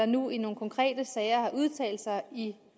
nu i nogle konkrete sager har udtalt sig i